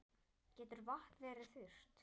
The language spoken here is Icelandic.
Getur vatn verið þurrt?